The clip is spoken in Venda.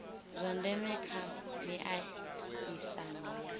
zwa ndeme kha miaisano ya